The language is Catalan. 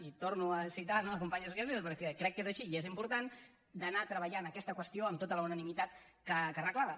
i torno a citar la companya socialista perquè crec que és així i és important d’anar treballant aquesta qüestió amb tota la unanimitat que reclama